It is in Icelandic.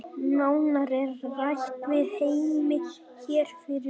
Nánar er rætt við Heimi hér fyrir ofan.